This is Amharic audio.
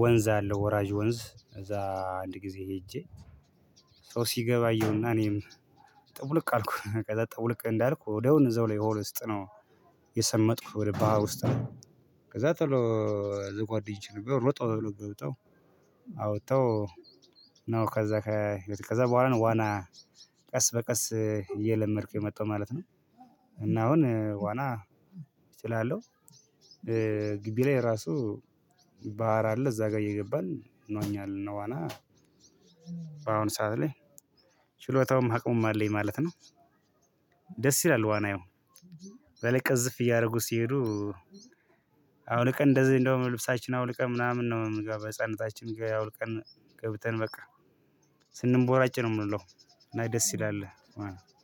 ወንዝ አለ ወራጅ ወንዝ እዛ አንድ ጊዜ ሄጄ። ሰው ሲገባ አየሁና እኔም ጠብልቅ አልኩኝ ከዛ ጠውልቅ እንዳልኩ ወዲያውኑ እዛው ላይ ውሃ ውስጥ ነው የሰመጥኩት ወደ ባህር ውስጥ ነው። ከዛ ቶሎ ጓደኞቼ ነበሩ ሮጠው አውጥተው ነው። ከዛ በኋላ ነው ዋና ቀስ በቀስ እየለመድኩ የመጣው ማለት ነው። እና አሁን ዋና እችላለሁ። ግቢ ላይ ራሱ ባህር አለ እዛ ጋር እየገባን እንዋኛለን። እና ዋና በአሁኑ ሰዓት ላይ ችሎታውም አቅሙም አለኝ ማለት ነው። ደስ ይላል ዋና ያው በላይ ቅዝፍ እያደረጉ ሲሄዱ። አውልቀን እንደዚህ እንደውም ልብሳችን አውልቀን ምናምን ነው በህፃንነታችን ጋር አውልቀን ገብተን በቃ ስንቦራጭ ነው የምንውለው። እና ደስ ይላል ማለት ነው